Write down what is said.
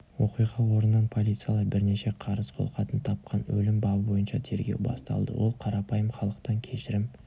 оқиға орнынан полициялар бірнеше қарыз қолхатын тапқан өлім бабы бойынша тергеу басталды ол қарапайым халықтан кешірім